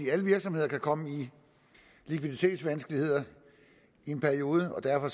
alle virksomheder kan komme i likviditetsvanskeligheder i en periode og derfor